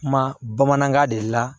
Kuma bamanankan de la